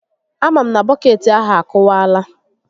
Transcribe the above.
A ma m na bọkeetị ahụ akụwaala